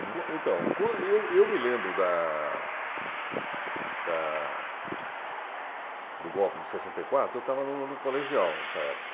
Então, quan eu eu me lembro da... da... do golpe de sessenta e quatro, eu estava no no colegial nessa época.